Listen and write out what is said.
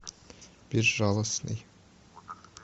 безжалостный